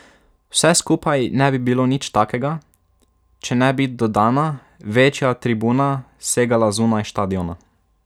Vse skupaj ne bi bilo nič takega, če ne bi dodana, večja tribuna segala zunaj štadiona.